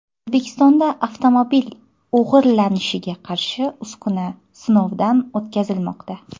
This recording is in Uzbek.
O‘zbekistonda avtomobil o‘g‘irlanishiga qarshi uskuna sinovdan o‘tkazilmoqda.